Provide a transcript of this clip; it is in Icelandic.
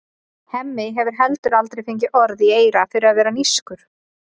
Hemmi hefur heldur aldrei fengið orð í eyra fyrir að vera nískur.